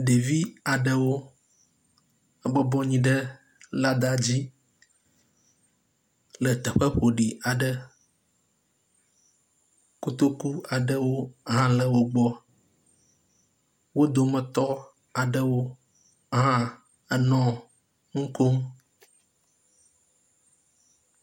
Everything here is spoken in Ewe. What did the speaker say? Ɖevi adre aɖewo bɔbɔ nɔ anyi ɖe lada dzi le teƒe ƒoɖi aƒe, kotoku aɖewo hã le wohbɔ, wodome tɔ aɖewo hã enɔ nukom